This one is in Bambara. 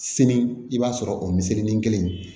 Sini i b'a sɔrɔ o miseli ni kelen